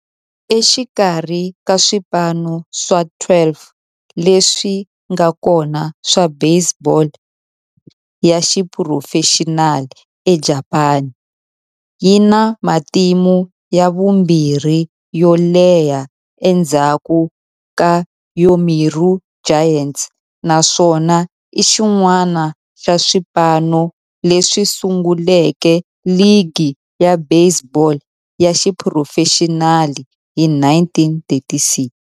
Exikarhi ka swipano swa 12 leswi nga kona swa baseball ya xiphurofexinali eJapani, yi na matimu ya vumbirhi yo leha endzhaku ka Yomiuri Giants, naswona i xin'wana xa swipano leswi sunguleke ligi ya baseball ya xiphurofexinali hi 1936.